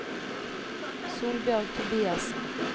Solbjørg Tobiassen